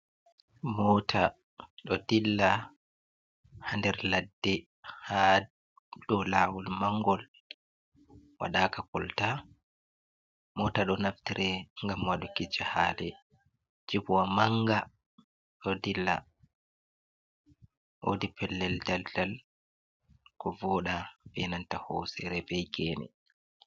Mota ɗo dilla ha nder ladde ha dou lawol mangol waɗaka kolta. Mota ɗo naftre ngam waɗugo jahale. Jipwa manga ɗo dilla, wodi pellel daldal ko voɗa wodi hosere be gene.